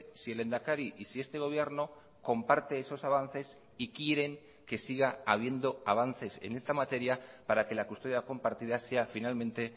si el lehendakari y si este gobierno comparte esos avances y quieren que siga habiendo avances en esta materia para que la custodia compartida sea finalmente